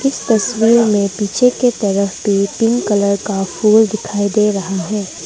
इस तस्वीर में पीछे की तरफ पे पिंक कलर का फूल दिखाई दे रहा है।